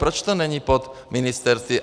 Proč to není pod ministerstvy?